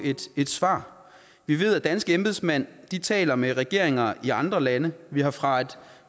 et svar vi ved at danske embedsmænd taler med regeringer i andre lande vi har fra